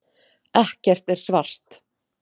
Ekkert er svart.